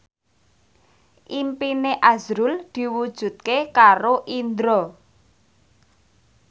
impine azrul diwujudke karo Indro